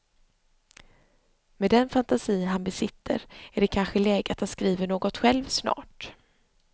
Med den fantasi han besitter är det kanske läge att han skriver något själv snart.